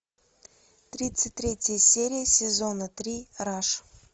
тридцать третья серия сезона три раш